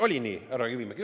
Oli nii, härra Kivimägi?